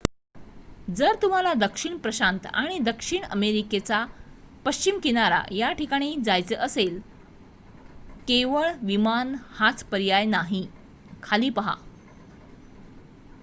जर तुम्हाला दक्षिण प्रशांत आणि दक्षिण अमेरिकेचा पश्चिम किनारा या ठिकाणी जायचे असेल केवळ विमान हाच पर्याय नाही. खाली पहा